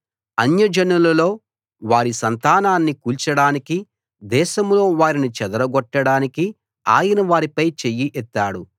అన్యజనులలో వారి సంతానాన్ని కూల్చడానికి దేశంలో వారిని చెదరగొట్టడానికి ఆయన వారిపై చెయ్యి ఎత్తాడు